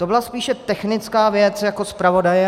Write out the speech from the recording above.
To byla spíše technická věc jako zpravodaje.